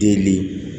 Deli